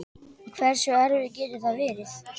Hversu erfitt getur það verið?